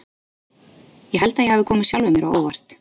Ég held að ég hafi komið sjálfum mér á óvart.